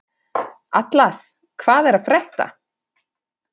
Atlas, hvað er að frétta?